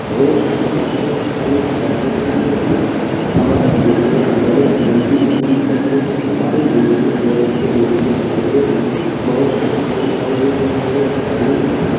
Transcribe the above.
road शहर को अनेक राज्यों से जोड़ता है हमारे देश में बहुत लंबी-लंबी सड़कें हैं हमारे देश में बहुत से नेशनल हाईवे है बहुत से स्टेट हाईवे हैं और ग्रामीण --